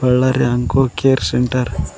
Ballari onco care centre .